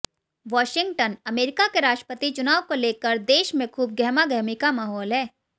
Washington America के राष्ट्रपति चुनाव को लेकर देश में खूब गहमागहमी का माहौल है